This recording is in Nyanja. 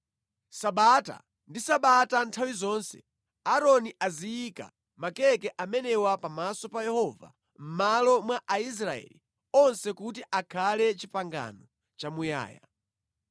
Sabata ndi sabata nthawi zonse Aaroni aziyika makeke amenewa pamaso pa Yehova mʼmalo mwa Aisraeli onse kuti akhale pangano lamuyaya.